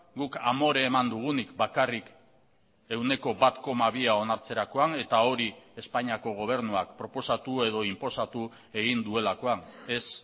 guk amore eman dugunik bakarrik ehuneko bat koma bia onartzerakoan eta hori espainiako gobernuak proposatu edo inposatu egin duelakoan ez